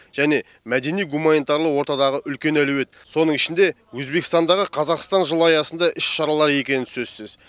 және мәдени гуманитарлы ортадағы үлкен әлеует соның ішінде өзбекстандағы қазақстан жылы аясындағы іс шаралар екені сөзсіз